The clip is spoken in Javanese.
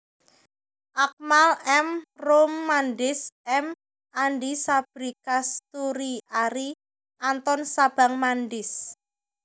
Akmal M Roem Mandis M Andi Sabri Kasturi Arie Anton Sabang Mandis